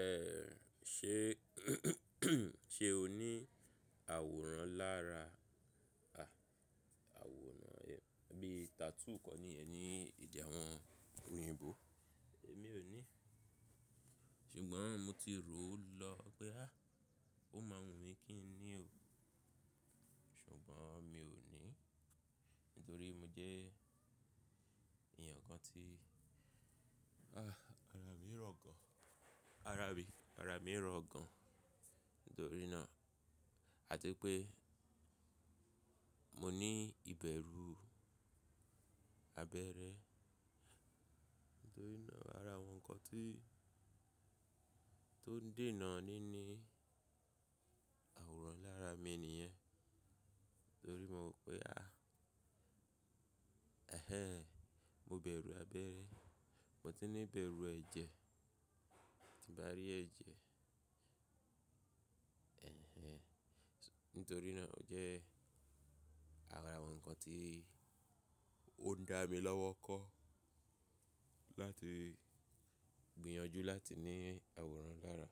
Ẹ ṣe ṣe o ní àwòrán lára, à, àwòrán ẹ́ bí tattoo kan nìyẹn ní ede àwọn oyinbò? Èmi ò ní, ṣùgbọ́n mo ti rò ó lọ pé a, ó má wùn mí kí n ní ò. Ṣùgbọ́n mi ò ní, nítorí mo jẹ́ èeyan kan tí, ah, ara mi rọ̀ gan. Ara mi, ara mi rọ̀ gan. Nítorí náà, àti pé mo ní ìbẹ̀rú abẹ́rẹ́. Nítorí náà ara àwọn nǹkan tí tó n dènà ní ní àwòrán lára mi nìyẹn. Nítorí mo pé a, ẹ̀hén, mo bẹ̀rù abẹ́rẹ́. Mo tun ní ìbẹ̀rù ẹ̀jẹ̀, tí n bá rí ẹ̀jẹ̀, ẹ̀hen. Nítorí náà o jẹ́ ara àwọn nǹkan tí ó ń dá mi lọ́wọ́ kọ́ láti gbìyànjú láti ní àwòrán lára.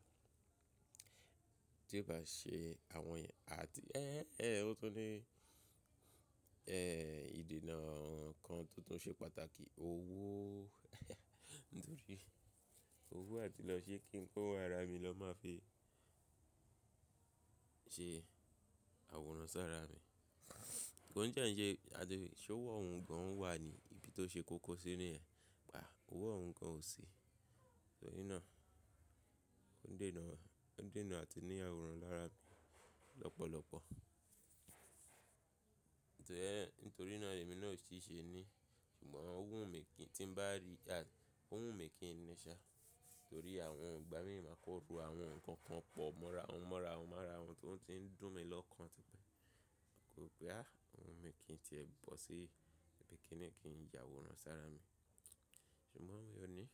Tí n bá ṣe àwọn èyí, a ti, ẹ́ ẹ́ ẹ́ ó tun ní, ẹ, ìdènà kan tó tún ṣe pàtàkì, owó. Nítorí owó àti lọ́ ṣe kí n kó wá ara mi lọ́ máa fi ṣe àwòrán sára mi. Ko ti e ǹṣe, àti ṣe ó owo ohun gan wà ní? Ibi tó ṣe kókó sí ní yen. Ówo ohun gan ò si. Nítorí náà ó n dènà, ó n dènà àti ní àwòrán lára mi lọ́pọ̀lọ́pọ̀. Nítorí ẹ́, nítorí náà lèmi náà ò ṣíl ní. Ṣùgbọ́n ó wù mí kí n tí bá rí a, ó wù mí kí n ní ṣa. Nítorí àwọn ọgbà mi máa ko ro àwọn nǹkan kan pọ̀ mọ́ra won mọ́ra wahun mọ́ra ohun tó ti ń dùn mí lọ́kàn típẹ́. Kò pé a ohun mi kì í ti ẹ bọ́ sí ibi kini kí n yàwòrán sára mi. Ṣùgbọ́n mi ò ní.